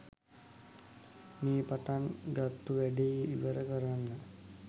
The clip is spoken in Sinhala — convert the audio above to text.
මේ පටන් ගත්තු වැඩේ ඉවර කරන්න